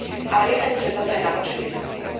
Ale myslím si, že toto je na dlhšiu diskusiu.